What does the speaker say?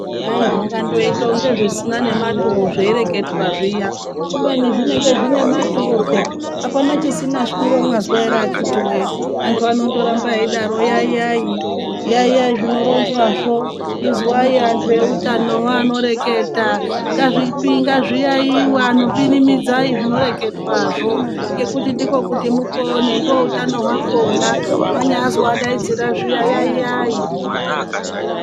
Kwai zvingangoite kunga zvisina nematuro zvaireketwa zviyani kubeni zvinenge zvine maturo peya apana chisina shwiro mwazwa ere akiti wowe antu anondorambe eidaro 'yayayi yayayi'zvinoronzwa zvo izwai anhuu eutano anoreketa ngazviyayiwe anhu pinimidzai zvinoreketwa zvo, ngekuti ndokuti mupone ndoutano hwakona mwanyazwa adaidzira zviya yayayi.